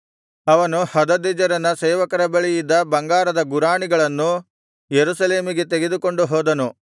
ಅವನು ಹದದೆಜೆರನ ಸೇವಕರ ಬಳಿ ಇದ್ದ ಬಂಗಾರದ ಗುರಾಣಿಗಳನ್ನು ಯೆರೂಸಲೇಮಿಗೆ ತೆಗೆದುಕೊಂಡು ಹೋದನು